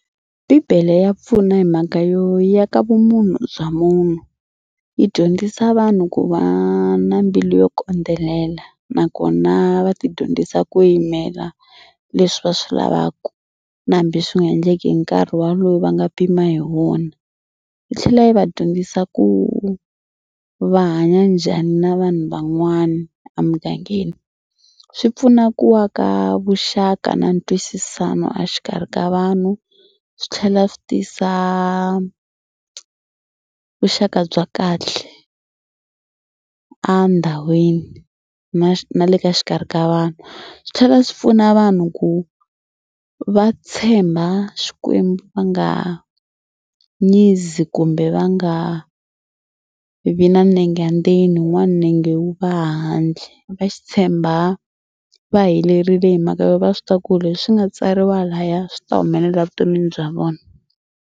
Bibele ya pfuna hi mhaka yo yi aka vumunhu bya munhu. Yi dyondzisa vanhu ku va na mbilu yo kondzelela nakona va tidyondzisa ku yimela leswi va swi lavaka na hambi swi nga endleki hi nkarhi walowo va nga pima hi wona. Yi tlhela yi va dyondzisa ku va hanya njhani na vanhu van'wana a mugangeni. Swi pfuna ku aka vuxaka na ntwisisano a xikarhi ka vanhu swi tlhela swi tisa vuxaka bya kahle a ndhawini na na le ka xikarhi ka vanhu. Swi tlhela swi pfuna vanhu ku va tshemba Xikwembu va nga nyizi kumbe va nga vi na nenge ndzeni wun'wana nenge wu va handle. Va xi tshemba va helerile hi mhaka yo va swi tiva ku leswi nga tsariwa laya swi ta humelela vuton'wini bya vona.